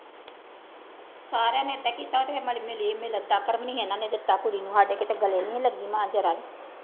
ਸਾਰਿਆਂ ਨੇ ਏਦਾਂ ਕੀਤਾ ਇਹਨਾਂ ਨੇ ਦਿੱਤਾ ਕੁੜੀ ਨੂੰ, ਸਾਡੇ ਕਿਤੇ ਗਲੇ ਨੀ ਲੱਗੀ ਮਾਂ ਜ਼ਰਾ